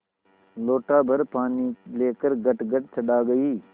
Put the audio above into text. लोटाभर पानी लेकर गटगट चढ़ा गई